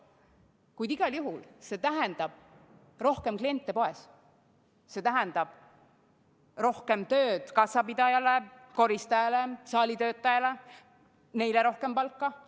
Kuid igal juhul tähendab see rohkem kliente poes, see tähendab rohkem tööd kassapidajale, koristajale, saalitöötajale, neile rohkem palka.